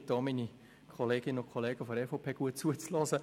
ich bitte auch meine Kolleginnen und Kollegen der EVP, gut zuzuhören.